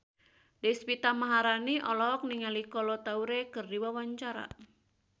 Deswita Maharani olohok ningali Kolo Taure keur diwawancara